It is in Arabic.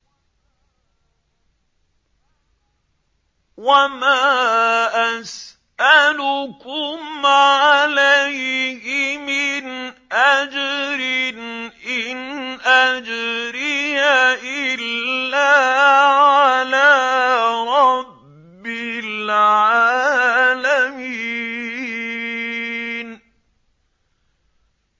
وَمَا أَسْأَلُكُمْ عَلَيْهِ مِنْ أَجْرٍ ۖ إِنْ أَجْرِيَ إِلَّا عَلَىٰ رَبِّ الْعَالَمِينَ